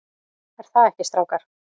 ER ÞAÐ EKKI, STRÁKAR?